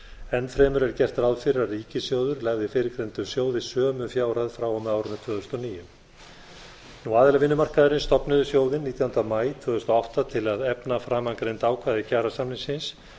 enn fremur er gert ráð fyrir að ríkissjóður legði fyrrgreindum sjóði sömu fjárhæð frá og með árinu tvö þúsund og níu aðilar vinnumarkaðarins stofnuðu sjóðinn nítjánda maí tvö þúsund og átta til að efna framangreind ákvæði kjarasamningsins